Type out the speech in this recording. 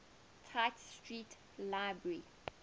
tite street library